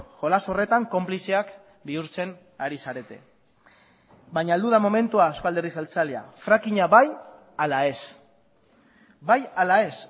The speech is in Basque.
jolas horretan konplizeak bihurtzen ari zarete baina heldu da momentua eusko alderdi jeltzalea fracking a bai ala ez